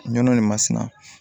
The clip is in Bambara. Nɔnɔ nin masina